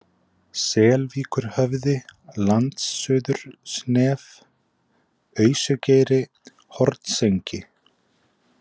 Selvíkurhöfði, Landsuðursnef, Ausugeiri, Hornsengi